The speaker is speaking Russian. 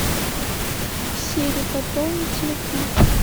сири пополни телефон